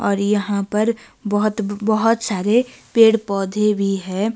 और यहां पर बहोत बहोत सारे पेड़ पौधे भी है।